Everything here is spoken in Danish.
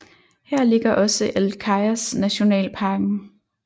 Her ligger også El Cajas nationalparken